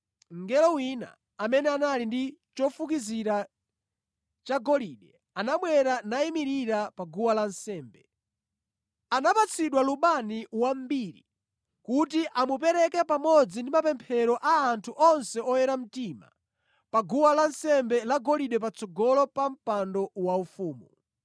Mngelo wina amene anali ndi chofukizira chagolide anabwera nayimirira pa guwa lansembe. Anapatsidwa lubani wambiri kuti amupereke pamodzi ndi mapemphero a anthu onse oyera mtima pa guwa lansembe lagolide patsogolo pa mpando waufumu.